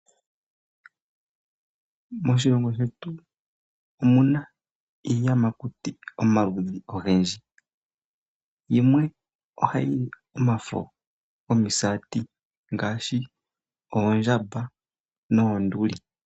Moshilongo shetu omu na iiyamakuti omaludhi ogendji. Yimwe ohayi li omafo gomisati ngaashi oondjamba noonduli.